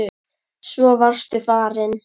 Svo varstu farinn.